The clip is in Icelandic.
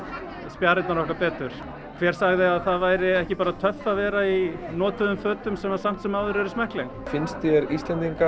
spjarirnar okkar betur hver sagði að það væri ekki bara töff að vera í notuðum fötum sem samt sem áður eru smekkleg finnst þér Íslendingar